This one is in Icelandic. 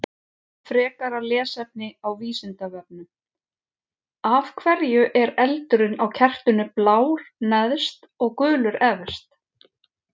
Frekara lesefni á Vísindavefnum: Af hverju er eldurinn á kertinu blár neðst og gulur efst?